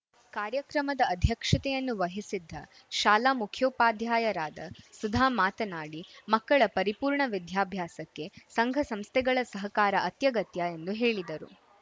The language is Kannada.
ಕಾರ್ಯಕ್ರಮದ ಅಧ್ಯಕ್ಷತೆಯನ್ನು ವಹಿಸಿದ್ದ ಶಾಲಾ ಮುಖ್ಯೋಪಾಧ್ಯಾಯರಾದ ಸುಧಾ ಮಾತನಾಡಿ ಮಕ್ಕಳ ಪರಿಪೂರ್ಣ ವಿದ್ಯಾಭ್ಯಾಸಕ್ಕೆ ಸಂಘಸಂಸ್ಥೆಗಳ ಸಹಕಾರ ಅಗತ್ಯಗತ್ಯ ಎಂದು ಹೇಳಿದರು